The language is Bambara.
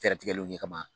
Fɛɛrɛ tigɛliw kɛ kama